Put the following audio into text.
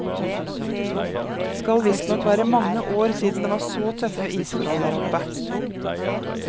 Skal visstnok være mange år siden det var så tøffe isforhold der oppe.